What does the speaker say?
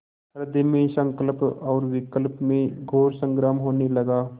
हृदय में संकल्प और विकल्प में घोर संग्राम होने लगा